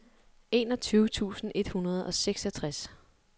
enogtyve tusind et hundrede og seksogtres